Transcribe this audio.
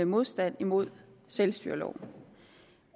modstand mod selvstyreloven